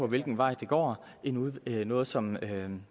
hvilken vej det går noget noget som